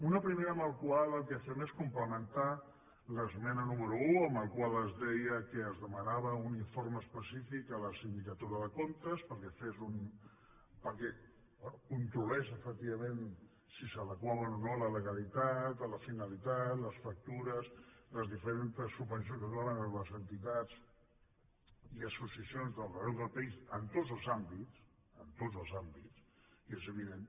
una primera amb la qual el que fem és complementar l’esmena número un en la qual es deia que es demanava un informe específic a la sindicatura de comptes perquè bé controlés efectivament si s’adequaven o no a la legalitat a la finalitat les factures les diferents subvencions que es donaven a les entitats i associacions d’arreu del país en tots els àmbits en tots els àmbits i és evident